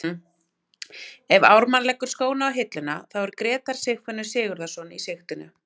Ef Ármann leggur skóna á hilluna þá er Grétar Sigfinnur Sigurðarson í sigtinu.